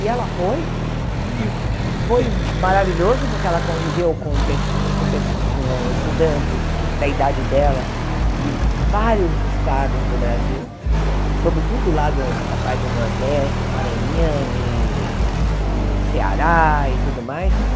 E ela foi, e foi maravilhoso porque ela conviveu com pe com pe com estudantes da idade dela de vários estados do Brasil, sobretudo do lado da parte do Nordeste, Maranhão e e Ceará e tudo mais.